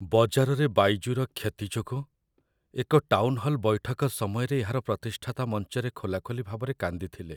ବଜାରରେ ବାଇଜୁର କ୍ଷତି ଯୋଗୁଁ ଏକ ଟାଉନ୍‌ହଲ୍‌ ବୈଠକ ସମୟରେ ଏହାର ପ୍ରତିଷ୍ଠାତା ମଞ୍ଚରେ ଖୋଲାଖୋଲି ଭାବରେ କାନ୍ଦିଥିଲେ।